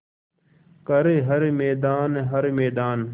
कर हर मैदान हर मैदान